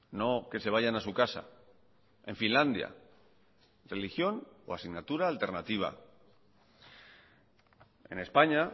no que se vayan a su casa en finlandia religión o asignatura alternativa en españa